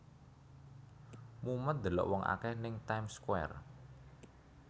Mumet ndelok wong akeh ning Time Square